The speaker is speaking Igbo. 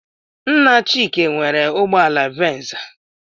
Nna Chike nwere ụgbọala venza.